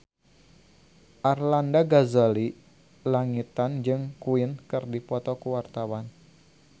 Arlanda Ghazali Langitan jeung Queen keur dipoto ku wartawan